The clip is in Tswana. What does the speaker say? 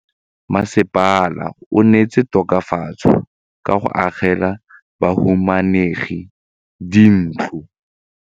Mmasepala o neetse tokafatsô ka go agela bahumanegi dintlo.